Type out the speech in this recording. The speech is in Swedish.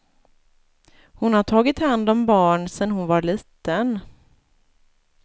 Hon har tagit hand om barn sen hon var liten.